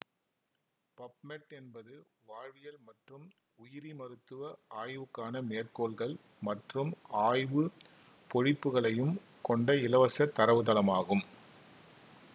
PubMed என்பது வாழ்வியல் மற்றும் உயிரிமருத்துவ ஆய்வுக்கான மேற்கோள்கள் மற்றும் ஆய்வு பொழிப்புகளையும் கொண்ட இலவச தரவுத்தளமாகும்